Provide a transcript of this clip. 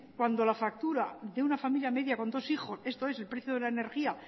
cuando la factura de una familia media con dos hijos esto es el precio de la energía